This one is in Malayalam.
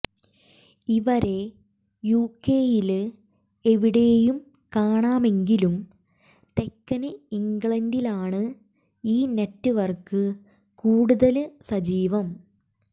ഇവരെ യുകെയില് എവിടെയും കാണാമെങ്കിലും തെക്കന് ഇംഗ്ലണ്ടിലാണ് ഈ നെറ്റവര്ക്ക് കൂടുതല് സജീവം